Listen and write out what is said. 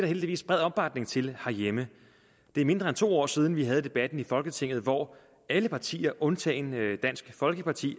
heldigvis bred opbakning til herhjemme det er mindre end to år siden at vi havde debatten i folketinget hvor alle partier undtagen dansk folkeparti